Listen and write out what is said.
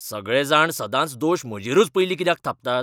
सगळे जाण सदांच दोश म्हजेरूच पयलीं कित्याक थापतात?